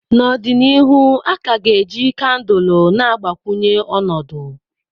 N'ọdịnihu, a ka ga-eji kandụl na-agbakwunye ọnọdụ.